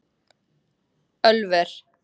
Ölver